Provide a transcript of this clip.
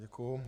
Děkuji.